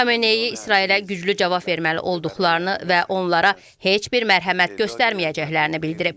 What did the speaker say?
Xamenei İsrailə güclü cavab verməli olduqlarını və onlara heç bir mərhəmət göstərməyəcəklərini bildirib.